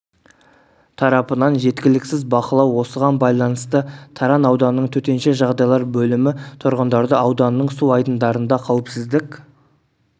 тарапынан жеткіліксіз бақылау осыған байланысты таран ауданының төтенше жағдайлар бөлімі тұрғындарды ауданның су айдындарында қауіпсіздік